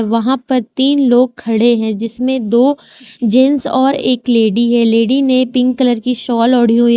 वहां पर तीन लोग खड़े हैं जिसमें दो जेंट्स और एक लेडी है लेडी ने पिंक कलर की शॉल ओढ़ी हुई।